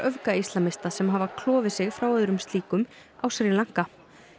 öfgaíslamista sem hafi klofið sig frá öðrum slíkum á Sri Lanka